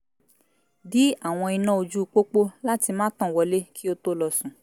dí àwọn iná ojú pópó láti má tàn wọlé kí ó tó lọ sùn